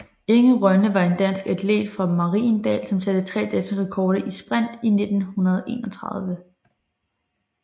Inge Rønde var en dansk atlet fra Mariendal som satte tre danske rekorder i sprint i 1931